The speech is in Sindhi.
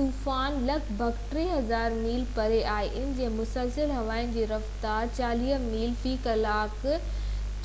طوفان لڳ ڀڳ 3،000 ميل پري آهي، ان جي مسلسل هوائن جي رفتار 40 ميل في ڪلاڪ